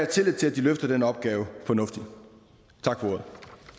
tillid til at de løfter den opgave fornuftigt tak for ordet